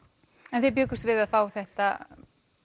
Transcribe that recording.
en þið bjuggust við að fá þetta